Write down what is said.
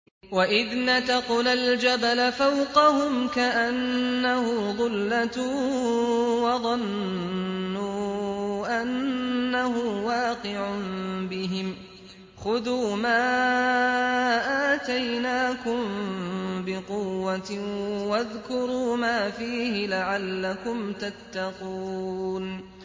۞ وَإِذْ نَتَقْنَا الْجَبَلَ فَوْقَهُمْ كَأَنَّهُ ظُلَّةٌ وَظَنُّوا أَنَّهُ وَاقِعٌ بِهِمْ خُذُوا مَا آتَيْنَاكُم بِقُوَّةٍ وَاذْكُرُوا مَا فِيهِ لَعَلَّكُمْ تَتَّقُونَ